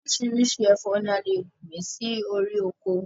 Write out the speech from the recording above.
Orísirísi ẹ̀fọ́ ni a lè gbìn sí orí ọkọ